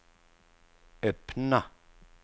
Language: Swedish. öppna